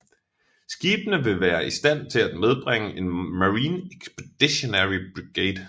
Skibene vil være i stand til at medbringe en Marine Expeditionary Brigade